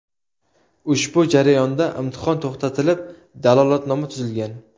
Ushbu jarayonda imtihon to‘xtatilib, dalolatnoma tuzilgan.